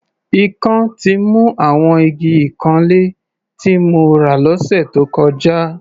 Ikán ti mu àwọn igi ìkanlé tí mo rà lọ́sẹ̀ tó kọjá.